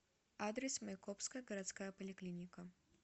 адрес майкопская городская поликлиника